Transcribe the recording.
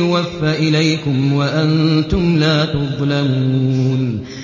يُوَفَّ إِلَيْكُمْ وَأَنتُمْ لَا تُظْلَمُونَ